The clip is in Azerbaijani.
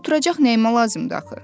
Oturacaq neymə lazımdır axı?